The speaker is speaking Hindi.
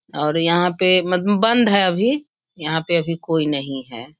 और यहाँ पे मत बंद है अभी | यहाँ पे अभी कोई नहीं है।